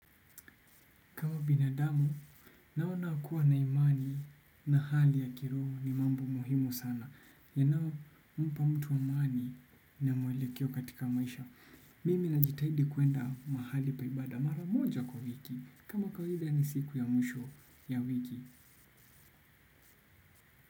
Binadamu naona kuwa na imani na hali ya kiroho ni mambo muhimu sana. Yanao, mpa mtu amaani na mwelekeo katika maisha. Mimi najitahidi kuenda mahali pa ibada mara moja kwa wiki. Kama kawaida ni siku ya mwisho ya wiki.